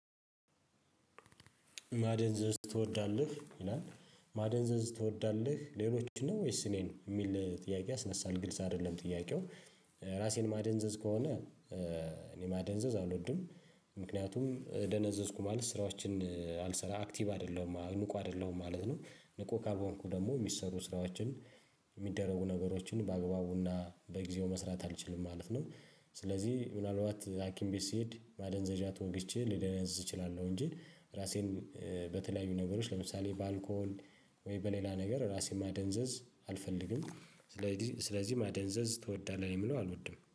ማደንዘዝ ትወዳለህ ይላል ማደንዘዝ ትወዳለህ ሌሎችን ነው ወይስ እኔን የሚል ጥያቄ ያስነሳል ግልጽ አይደለም ጥያቄው። ራሴን ማደንዘዝ ከሆነ እኔ ማደንዘዝ አልወድም። ምክንያቱም ደነዘዝኩ ማለት ስራዎችን አልሰራ አክቲቭ አደለሁም ንቁ አደለሁም ማለት ነው። ንቁ ካልሆንኩ ደግሞ የሚሰሩ ስራዎችን ሚደረጉ ነገሮችን በአግባቡና በጊዜው መስራት አልችልም ማለት ነው። ስለዚህ ምናልባት ሀኪም ቤት ስሄድ ማደንዘዣ ተወግቼ ልደነዝዝ እችላለሁ እንጂ ራሴን በተለያዩ ነገሮች ለምሳሌ በአልኮል ወይ በሌላ ነገር ራሴን ማደንዘዝ አልፈልግም። ስለዚህ ስለዚህ ማደንዘዝ ትወዳለህ ለምለው አልወድም